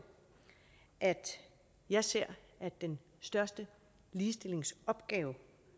at jeg ser at den største ligestillingsopgave